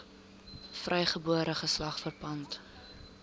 vrygebore geslag verpand